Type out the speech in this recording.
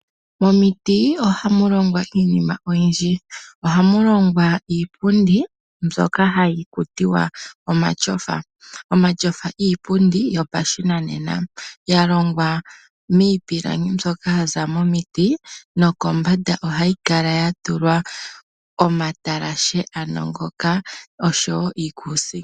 Momiti oha mu longwa iinima oyindji. Oha mu longwa iipundi mbyoka hayi ithanwa omatyofa. Omatyofa iipundi yopashinanena yalongwa miipilangi mbyoka yaza miiti nosho woo omatalashe. Kombanda yomatyofa oha ku kala kwa tentekwa uukuusinga .